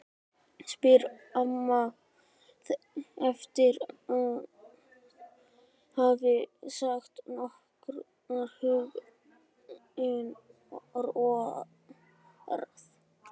spyr amma eftir að hafa sagt nokkur huggunarorð.